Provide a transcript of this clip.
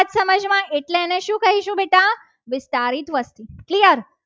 વિસ્તારીત વસ્તી clear